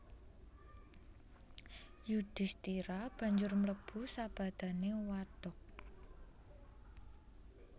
Yudhisthira banjur mlebu sabadané wadhag